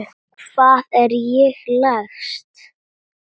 Hvað er það, lagsi?